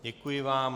Děkuji vám.